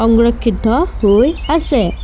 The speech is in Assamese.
সংৰক্ষিত হৈ আছে।